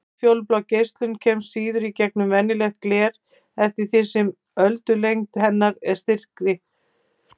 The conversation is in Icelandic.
Útfjólublá geislun kemst síður í gegnum venjulegt gler eftir því sem öldulengd hennar er styttri.